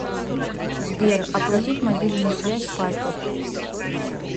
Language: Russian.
сбер оплатить мобильную связь папе